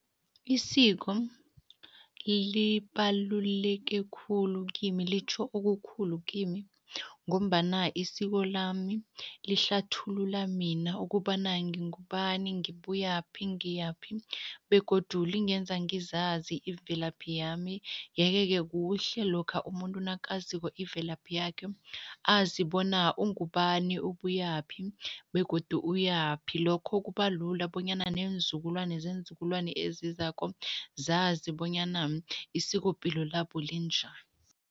Isiko libaluleke khulu kimi, litjho okukhulu kimi ngombana isiko lami lihlathulula mina ukobana ngingubani, ngibuyaphi, ngiyaphi begodu lingenza ngizazi imvelaphi yami yeke-ke kuhle lokha umuntu nakaziko imvelaphi yakhe, azi bona ungubani, ubuyaphi begodu uyaphi. Lokho kuba lula bonyana neenzukulwane zeenzukulwana ezizako, zazi bonyana isikopilo labo linjani.